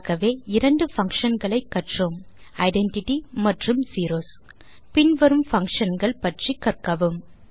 ஆகவே இரண்டு பங்ஷன் களை கற்றோம் ஐடென்டிட்டி மற்றும் செரோஸ் பின்வரும் பங்ஷன் கள் பற்றி கற்கவும்